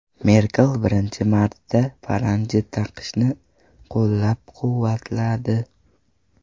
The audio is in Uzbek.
Merkel birinchi marta paranji taqishni taqiqlashni qo‘llab-quvvatladi.